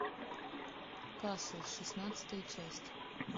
касл шестнадцатая часть